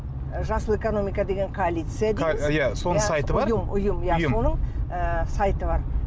жасыл экономика деген коалиция иә соның сайты бар ұйым ұйым ұйым соның ы сайты бар